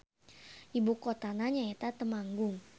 Ibukotana nyaeta Temanggung.